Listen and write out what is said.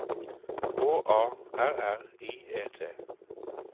H A R R I E T